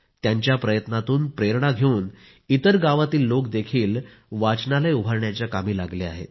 त्यांच्या प्रयत्नांतून प्रेरणा घेऊन इतर गावातील लोक देखील वाचनालय उभारण्याच्या कामी लागले आहेत